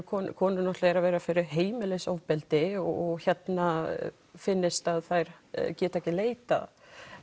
konur konur eru að verða fyrir heimilisofbeldi og finnist að þær geti ekki leitað